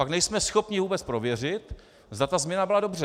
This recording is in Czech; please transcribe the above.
Pak nejsme schopni vůbec prověřit, zda ta změna byla dobře.